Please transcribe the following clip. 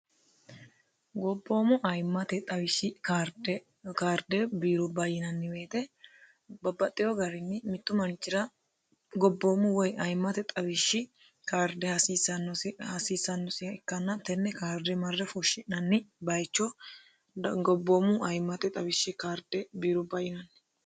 gobboomu ayimmate xawishshi kaarde kaarde biirubba yinanniti babbaxino garinni mittu manchira gobbomu woy aymmste xawishshi kaarde hasiissannosi aano hasiissannosiha ikkanna tenne kaarde marre fushshi'nanni bayicho gobbommu ayimmate xawishshi birubba yinanni